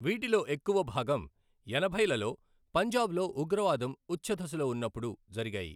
వీటిలో ఎక్కువ భాగం ఎనభైలలో పంజాబ్లో ఉగ్రవాదం ఉచ్ఛదశలో ఉన్నప్పుడు జరిగాయి.